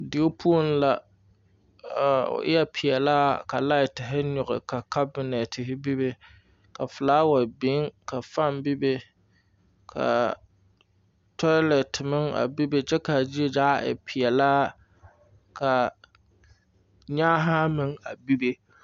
Deo puoŋ la a o eɛ peɛlaa ka laitere nyugi ka kabinetere bebe ka flower biŋ ka fun bebe ka toilet meŋ bebe kye k,a zie zaa e peɛlaa ka nyaahaa meŋ a bebe.